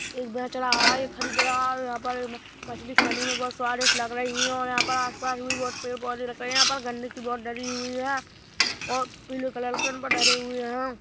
एक बेच रहा है एक खरीद रहा है यहाँ पर मछली खाने में बहोत स्वादिष्ट लग रही है और यहाँ पर आसपास भी बहोत पेड़-पौधे रख रहे है और यहाँ पर आसपास भी बहोत पेड़-पौधे रख रहे है यहाँ पर गंदगी बहोत धरी हुई है और पीले कलर कैन पे धरी हुए है।